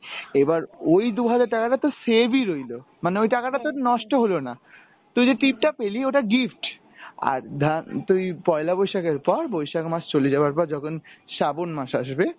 এইবার ওই দু’হাজার টাকা তো তোর save ই রইলো, মানে ওই টাকাটা তোর নষ্ট হলো না। তুই যে টিপ টা পেলি ওটা gift, আর ধান তুই পয়লা বৈশাখের পর বৈশাখ মাস চলে যাওয়ার পর যখন শ্রাবন মাস আসবে